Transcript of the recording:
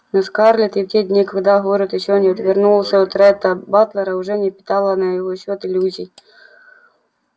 но скарлетт и в те дни когда город ещё не отвернулся от ретта батлера уже не питала на его счёт иллюзий